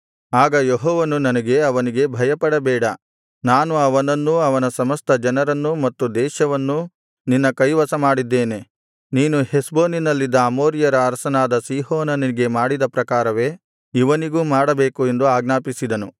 ಆಗ ಯೆಹೋವನು ನನಗೆ ಅವನಿಗೆ ಭಯಪಡಬೇಡ ನಾನು ಅವನನ್ನೂ ಅವನ ಸಮಸ್ತ ಜನರನ್ನೂ ಮತ್ತು ದೇಶವನ್ನೂ ನಿನ್ನ ಕೈವಶಮಾಡಿದ್ದೇನೆ ನೀನು ಹೆಷ್ಬೋನಿನಲ್ಲಿದ್ದ ಅಮೋರಿಯರ ಅರಸನಾದ ಸೀಹೋನನಿಗೆ ಮಾಡಿದ ಪ್ರಕಾರವೇ ಇವನಿಗೂ ಮಾಡಬೇಕು ಎಂದು ಆಜ್ಞಾಪಿಸಿದನು